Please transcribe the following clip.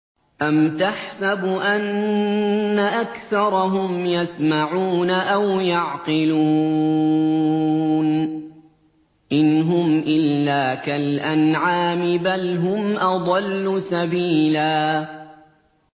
أَمْ تَحْسَبُ أَنَّ أَكْثَرَهُمْ يَسْمَعُونَ أَوْ يَعْقِلُونَ ۚ إِنْ هُمْ إِلَّا كَالْأَنْعَامِ ۖ بَلْ هُمْ أَضَلُّ سَبِيلًا